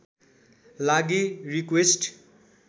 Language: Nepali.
लागि रिक्वेस्ट